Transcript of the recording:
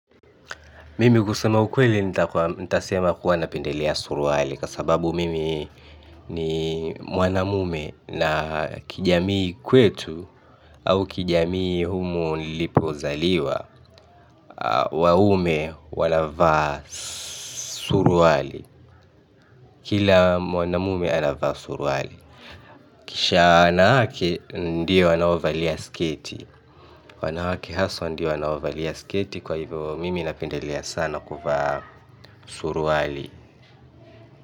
Mimi kusema ukweli nitasema kuwa napendelea suruali kwa sababu mimi ni mwanamume na kijamii kwetu au kijamii humu nilipozaliwa. Waume wanavaa suruali kila mwanamume anavaa suruali kisha wanawake ndiyo wanaovalia sketi wanawake haswa ndiyo wanaovalia sketi kwa hivyo mimi napendelea sana kuvaa suruali.